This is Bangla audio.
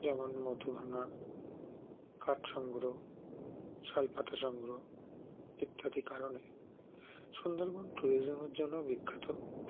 যেমন মধূভাঙা কাঠসংগ্ৰহ শালপাতা সংগ্রহ ইত্যাদি কারণে সুন্দরবন tourism -এর জন্যও বিখ্যাত